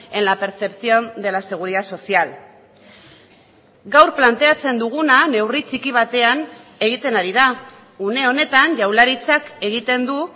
en la percepción de la seguridad social gaur planteatzen duguna neurri txiki batean egiten ari da une honetan jaurlaritzak egiten du